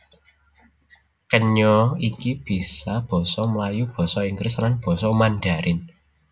Kenya iki bisa basa Melayu basa Inggris lan basa Mandharin